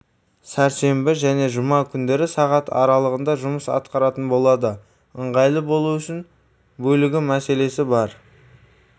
сәрсенбі және жұма күндері сағат аралығында жұмыс атқаратын болады ыңғайлы болу үшін бөлігі мәселесі бар